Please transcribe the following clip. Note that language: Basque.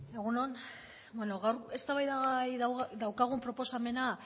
egun on bueno gaur eztabaidagai daukagun proposamena